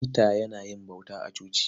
Peter yana yin bauta a coci.